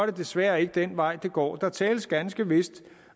det desværre ikke den vej det går der tales ganske vist